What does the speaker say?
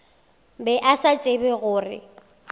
be a sa tsebe gore